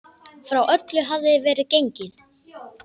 Frá öllu hafði verið gengið.